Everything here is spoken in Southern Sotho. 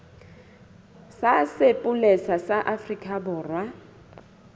sa sepolesa sa afrika borwa